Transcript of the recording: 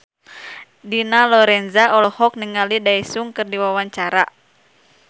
Dina Lorenza olohok ningali Daesung keur diwawancara